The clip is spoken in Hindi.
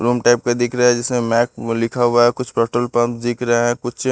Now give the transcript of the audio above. रूम टाइप का दिख रहा है जैसे मैक लिखा हुआ है कुछ पेट्रोल पंप दिख रहे हैं कुछ--